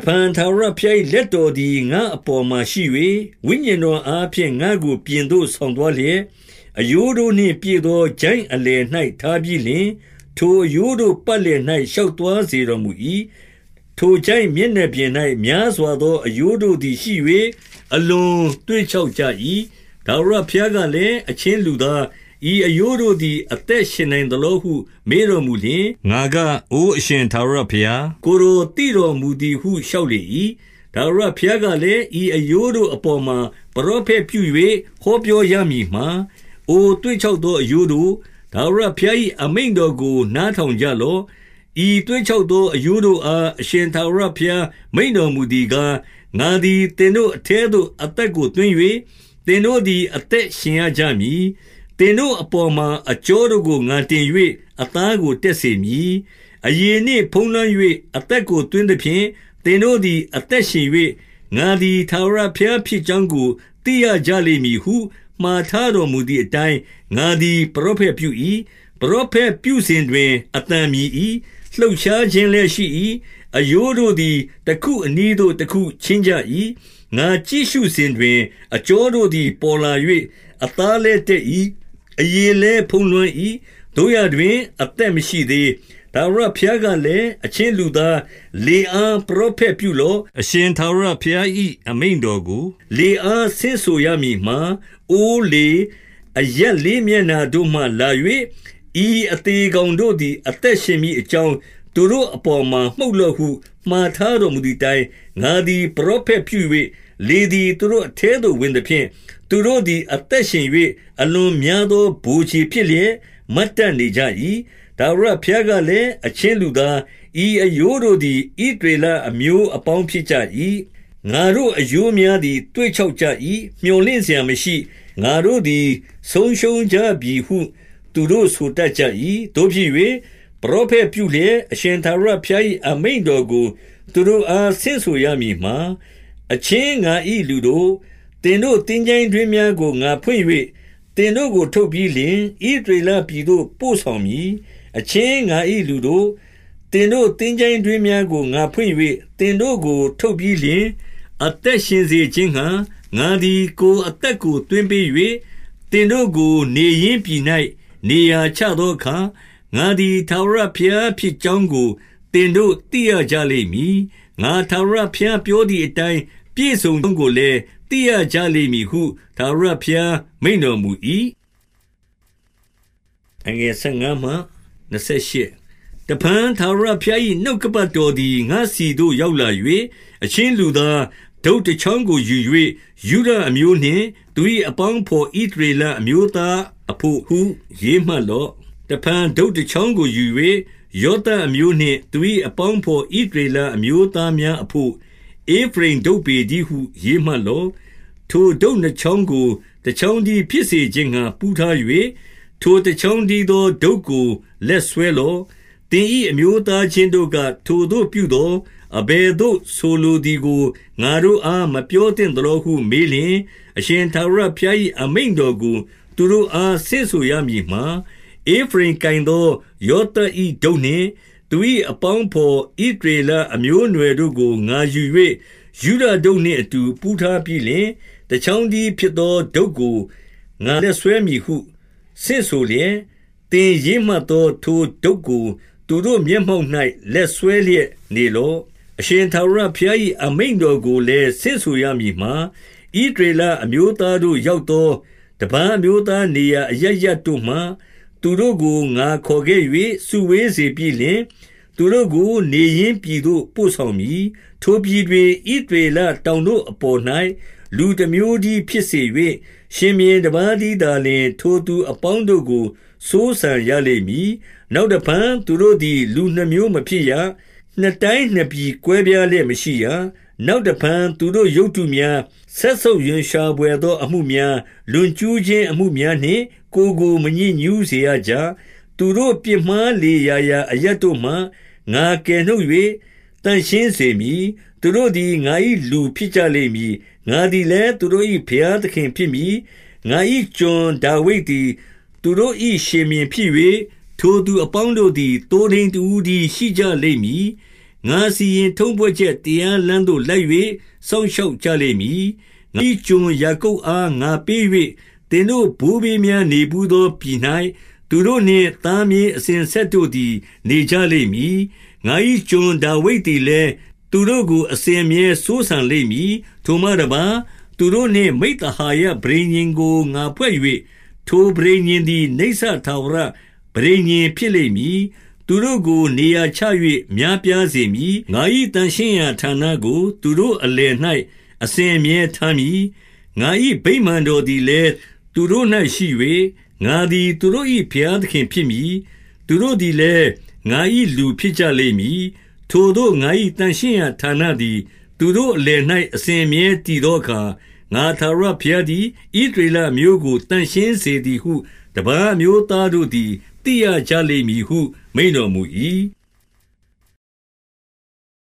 ဖန်ထာဝရဘုရား၏ လက်တော်သည် ငါ့ အပေါ်မှာရှိ၍ ဝိညာဉ်တော်အားဖြင့် ငါ့ကိုပြင်သို့ ဆောင် သွားလျက်၊ အရိုးတို့နှင့် ပြည့်သောချိုင့်အလယ်၌ ထားပြီး လျှင်၊ 2 ထိုအရိုးတို့ပတ်လည်၌ ရှောက်သွားစေတော် မူ၏။ ထိုချိုင့်မျက်နှာပြင်၌ များစွားသောအရိုးတို့သည်ရှိ၍ အလွန်သွေ့ခြောက်ကြ၏။ 3 ထာဝရဘုရားကလည်း၊ အချင်းလူသား၊ ဤ အရိုးတို့သည် အသက်ရှင်နိုင်သလောဟု မေးတော်မူလျှင်၊ ငါက၊ အိုအရှင်ထာဝရဘုရား၊ ကိုယ်တော်သိတော်မူသည် ဟု လျှောက်လေ၏။ 4 ထာဝရဘုရားကလည်း၊ ဤအရိုးတို့အပေါ်မှာ ပရောဖက်ပြု၍ ဟောပြောရမည်မှာ၊ အိုသွေ့ခြောက် သော အရိုးတို့၊ထာဝရဘုရား၏အမိန့်တော်ကိုနားထောင် ကြလော့။ 5 ဤသွေ့ခြောက်သော အရိုးတို့အား အရှင် ထာဝရဘုရား မိန့်တော်မူသည်ကား၊ ငါသည် သင်တို့ အထဲသို့ အသက်ကိုသွင်း၍ သင်တို့သည် အသက်ရှင်ရ ကြမည်။ 6 သင်တို့အပေါ်မှာ အကြောတို့ကို ငါတင်၍ အသားကို တက်စေမည်။ အရေနှင့် ဖုံးလွှမ်း၍၊ အသက် ကို သွင်းသဖြင့် သင်တို့သည် အသက်ရှင်၍၊ ငါသည် ထာဝရဘုရားဖြစ်ကြောင်းကို သိရကြလိမ့်မည်ဟု၊ 7 မှာထားတော်မူသည်အတိုင်း ငါသည် ပရော ဖက်ပြု၏။ ပရောဖက်ပြုစဉ်တွင် အသံမြည်၏။ လှုပ်ရှား ခြင်းလည်း ရှိ၏။ အရိုးတို့သည် တခုအနီးသို့တခု ချဉ်းကြ ၏။ 8 ငါကြည့်ရှုစဉ်တွင် အကြောတို့သည်ပေါ်လာ၍ အသားလည်း တတ်၏။ အရေလည်းဖုံးလွှမ်း၏။ သို့ရာ တွင်၊ အသက်မရှိသေး။ 9 ထာဝရဘုရားကလည်း၊ အချင်းလူသား၊ လေ အား ပရောဖက်ပြုလော့။ အရှင်ထာဝရဘုရား၏ အမိန့် တော်ကို လေအားဆင့်ဆိုရမည်မှာ၊ အိုလေ၊ အရပ် လေးမျက်နှာတို့မှ လာ၍၊ ဤအသေကောင်တို့သည် အသက်ရှင်မည်အကြောင်း သူတို့အပေါ်မှာ မှုတ်လော့ဟု၊ 10 မှာထားတော်မူသည်အတိုင်း ငါသည် ပရော ဖက်ပြု၍၊ လေသည် သူတို့အထဲသို့ဝင်သဖြင့် သူတို့သည် အသက်ရှင်၍၊ အလွန်များသော ဗိုလ်ခြေဖြစ်လျက် မတ်တတ်နေကြ၏။ 11 ထာဝရဘုရားကလည်း၊ အချင်းလူသား၊ ဤအရိုးတို့သည် ဣသရေလအမျိုးအပေါင်းဖြစ်ကြ၏။ ငါတို့အရိုးများသည် သွေ့ခြောက်ကြ၏။ မြော်လင့်စရာ မရှိ။ ငါတို့သည် ဆုံးရှုံးကြပြီဟု သူတို့ဆိုတတ်ကြ၏။ 12 သို့ဖြစ်၍၊ ပရောဖက်ပြုလျက် အရှင်ထာဝရ ဘုရား၏ အမိန့်တော်ကို သူတို့အား ဆင့်ဆိုရမည်မှာ၊ အချင်းငါ၏လူတို့၊ သင်တို့သင်္ချိုင်းတွင်းများကို ငါဖွင့်၍ သင်တို့ကို ထုတ်ပြီးလျှင် ဣသရေလပြည်သို့ ပို့ဆောင် မည်။ 13 အချင်းငါ၏လူတို့၊ သင်တို့သင်္ချိုင်းတွင်းများကို ငါဖွင့်၍သင်တို့ ကို ထုတ်ပြီးလျှင်၊ 14 အသက်ရင်စေခြင်းငှါ ငါသည် ကိုယ်အသက်ကို သွင်းပေး၍၊ သင်တို့ကို နေရင်းပြည်၌ နေရာချသောအခါ၊ ငါသည် ထာဝရဘုရားဖြစ်ကြောင်းကို သင်တို့သိရကြလိမ့် မည်။ ငါထာဝရဘုရားပြောသည်အတိုင်း ပြည့်စုံကြောင်း ကိုလည်း သိရကြလိမ့်မည်ဟု ထာဝရဘုရားမိန့်တော်မူ၏။ 15 တဖန်ထာဝရဘုရား၏ နှုတ်ကပတ်တော်သည် ငါ့ဆီသို့ ရောက်လာ၍၊ 16 အချင်းလူသား၊ တုတ်တချောင်းကိုယူ၍၊ ယုဒ အမျိုးနှင့် သူ၏အပေါင်းအဘော် ဣသရေလ အမျိုးသားအဘို့ ဟု ရေးမှတ်လော့။ တဖန် တုတ်တချောင်းကိုယူ၍၊ ယောသပ်အမျိုးနှင့်သူ၏ အပေါင်းအဘော် ဣသရေလ အမျိုးသားများအဘို့၊ ဧဖရိမ်တုတ်ပေတည်းဟု ရေးမှတ် လော့။ 17 ထိုတုတ်နှစ်ချောင်းကို တချောင်းတည်းဖြစ်စေ ခြင်းငှါ ပူးထား၍၊ ထိုတချောင်းတည်းသော တုတ်ကို လက်စွဲလော့။ 18 သင်၏အမျိုးသားချင်းတို့က၊ ထိုသို့ပြုသော်၊ အဘယ်သို့ဆိုလိုသည်ကို ငါတို့အားမပြောသင့်သလောဟု မေးလျှင်၊ 19 အရှင်ထာဝရဘုရား၏ အမိန့်တော်ကိုသူတို့ အား ဆင့်ဆိုရမည်မှာ၊ ဧဖရိမ်ကိုင်သော ယောသပ်၏ တုတ်နှင့်၊ သူ၏အပေါင်းအဘော် ဣသရေလအမျိုး အနွယ်တို့ကိုငါယူ၍ ယုဒတုတ်နှင့်အတူ ပူးထားပြီးလျှင်၊ တချောင်းတည်းဖြစ်သော တုတ်ကိုငါလက်စွဲမည်ဟု ဆင့်ဆိုလျက်၊ 20 သင်ရေးမှတ်သော ထိုတုတ်ကိုသူတို့မျက်မှောက်၌ လက်စွဲလျက် နေလော့။ 21 အရှင်ထာဝရဘုရား၏ အမိန့်တော်ကိုလည်း ဆင့်ဆို ရမည်မှာ၊ ဣသရေလအမျိုးသားတို့ရောက်သော တပါး အမျိုးသားနေရာအရပ်ရပ်တို့မှ သူတို့ကိုငါခေါ်ခဲ့၍ စုဝေး စေပြီးလျှင်၊ သူတို့ကို နေရင်းပြည်သို့ ပို့ဆောင်မည်။ 22 ထိုပြည်တွင် ဣသရေလ တောင်တို့အပေါ်၌ လူတမျိုးတည်းဖြစ် စေ၍၊ ရှင်ဘုရင်တပါးတည်းသာလျှင် ထိုသူအပေါင်းတို့ကို စိုးစံရလိမ့်မည်။ နောင်တဖန် သူတို့ သည် လူနှစ်မျိုးမဖြစ်ရ။ နှစ်တိုင်းနှစ်ပြည်ကွဲပြားလျက် မရှိရ။ 23 နောက်တဖန် သူတို့ရုပ်တုများ၊ စက်ဆုပ်ရွံရှာ ဘွယ်သော အမှုများ၊ လွန်ကျူးခြင်းအမှုများနှင့် ကိုယ်ကို မညစ်ညူးစေရကြ။ သူတို့ပြစ် မှားလေရာရာ အရပ်တို့မှ ငါကယ်နှုတ်၍ သန့်ရှင်းစေမည်။ သူတို့သည် ငါ၏ လူဖြစ်ကြလိမ့်မည်။ ငါသည်လည်း သူတို့၏ဘုရားသခင် ဖြစ်မည်။ 24 ငါ၏ကျွန်ဒါဝိဒ်သည် သူတို့၏ရှင်ဘုရင်ဖြစ်၍၊ ထိုသူအပေါင်းတို့သည် သိုးထိန်းတဦးတည်း ရှိကြလိမ့် မည်။ ငါစီရင်ထုံးဖွဲ့ချက် တရားလမ်းသို့ လိုက်၍ စောင့် ရှောက်ကြလိမ့်မည်။ 25 ငါ၏ကျွန်ယာကုပ်အား ငါပေး၍၊ သင်တို့ ဘိုးဘေးများနေဘူးသော ပြည်၌သူတို့နှင့်သားမြေး အစဉ် အဆက်တို့သည် နေကြလိမ့်မည်။ ငါ၏ကျွန်ဒါဝိဒ်သည် လည်း သူတို့ကို အစဉ်အမြဲစိုးစံလိမ့်မည်။ 26 ထိုမှတပါး၊ သူတို့နှင့်မိဿဟာယ ပဋိညာဉ်ကို ငါဖွဲ့၍၊ ထိုပဋိညာဉ်သည် နိစ္စထာဝရပဋိညာဉ် ဖြစ်လိမ့် မည်။ သူတို့ကိုနေရာချ၍ များပြားစေမည်။ ငါ၏ သန့်ရှင်းရာဌာနကို သူတို့အလယ်၌ အစဉ်အမြဲထားမည်။ 27 ငါ၏ဗိမာန်တော်သည်လည်း သူတို့၌ရှိ၍၊ ငါသည် သူတို့၏ ဘုရားသခင်ဖြစ်မည်။ သူတို့သည်လည်း ငါ၏လူဖြစ်လိမ့်မည်။ 28 ထိုသို့ငါ၏ သန့်ရှင်းရာဌာနသည် သူတို့အလယ် ၌အစဉ်အမြဲတည်သောအခါ၊ ငါထာဝရဘုရားသည် ဣသရေလအမျိုးကို သန့်ရှင်းစေသည်ဟု တပါး အမျိုးသားတို့သည် သိရကြလိမ့်မည်ဟု မိန့်တော်မူ၏။